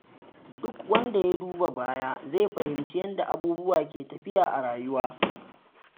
Duk wanda ya duba baya zai fahimci yadda abubuwa ke tafiya a rayuwa.